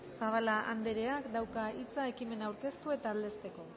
zabala andreak dauka hitza ekimena aurkeztu eta aldezteko